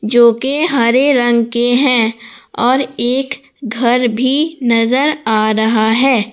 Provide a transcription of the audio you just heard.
जो के हरे रंग के हैं और एक घर भी नजर आ रहा है।